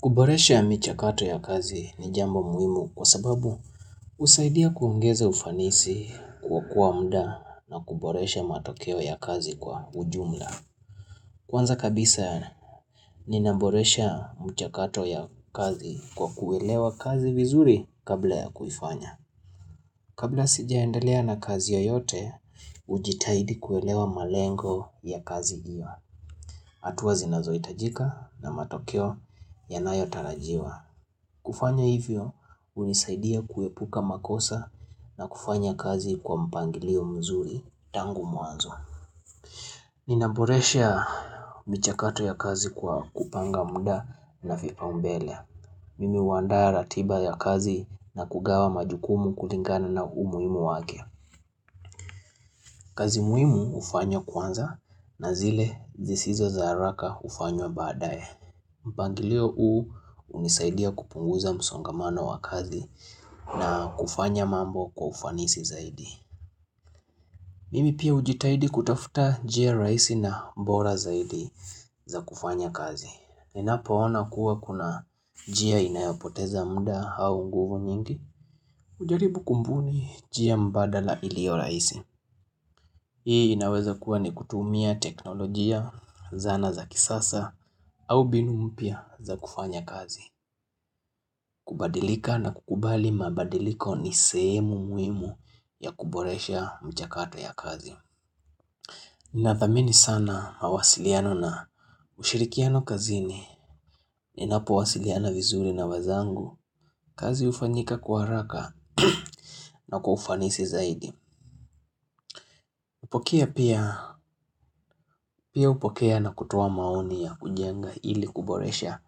Kuboresha michakato ya kazi ni jambo muhimu kwa sababu husaidia kungeza ufanisi kokoa muda na kuboresha matokeo ya kazi kwa ujumla. Kwanza kabisa ninaboresha michakato ya kazi kwa kuelewa kazi vizuri kabla ya kuifanya. Kabla sijaendelea na kazi yoyote, hujitaidi kuelewa malengo ya kazi hiyo, hatua zinazohitajika na matokeo yanayotarajiwa. Kufanya hivyo hunisaidia kuepuka makosa na kufanya kazi kwa mpangilio mzuri tangu mwanzo Ninaboresha michakato ya kazi kwa kupanga muda na vipaumbele Mimi huandaa ratiba ya kazi na kugawa majukumu kulingana na umuhimu wake. Kazi muhimu hufanywa kwanza na zile zisizo za haraka hufanywa baadaye mpangilio huu hunisaidia kupunguza msongamano wa kazi na kufanya mambo kwa ufanisi zaidi. Mimi pia hujitaidi kutafuta njia rahisi na bora zaidi za kufanya kazi. Ninapoona kuwa kuna njia inayapoteza muda au nguvu mingi. Hujaribu kubuni njia mbadala iliyo rahisi. Hii inaweza kuwa ni kutumia teknolojia, zana za kisasa, au mbinu mpya za kufanya kazi. Kubadilika na kukubali mabadiliko ni sehemu muhimu ya kuboresha michakato ya kazi Ninathamini sana mawasiliano na ushirikiano kazini Ninapowasiliana vizuri na wenzangu kazi hufanyika kwa haraka na kwa kufanisi zaidi hupokea pia hupokea na kutoa maoni ya kujenga ili kuboresha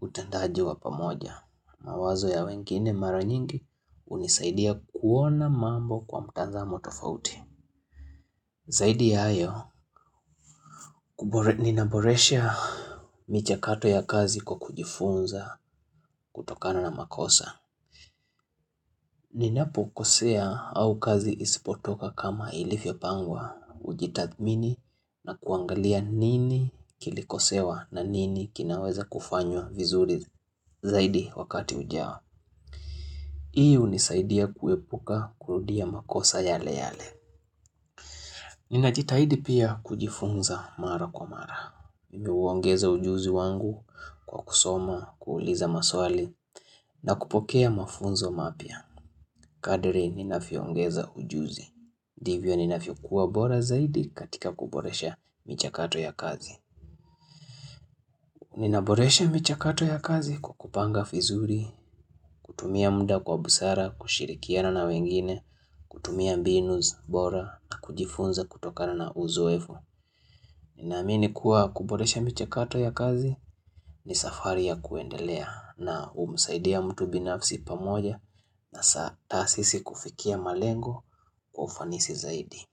utendaji wa pamoja mawazo ya wengine mara nyingi hunisaidia kuona mambo kwa mtazamo tofauti. Zaidi ya hayo, ninaboresha michakato ya kazi kwa kujifunza kutokana na makosa. Ninapokosea au kazi isipotoka kama ilivyopangwa hujitathmini na kuangalia nini kilikosewa na nini kinaweza kufanywa vizuri zaidi wakati ujao. Hii unisaidia kuwepuka kurudia makosa yale yale. Ninajitahidi pia kujifunza mara kwa mara. Mimi huongeza ujuzi wangu kwa kusoma, kuuliza maswali na kupokea mafunzo mapya. Kadri ninavyoongeza ujuzi. Ndivyo ninavyokuwa bora zaidi katika kuboresha michakato ya kazi. Ninaboresha michakato ya kazi kwa kupanga vizuri, kutumia muda kwa busara, kushirikiana na wengine, kutumia mbinu bora na kujifunza kutokana na uzoefu Naamini kuwa kuboresha michakato ya kazi ni safari ya kuendelea na humsaidia mtu binafsi pamoja na sisi kufikia malengo kwa ufanisi zaidi.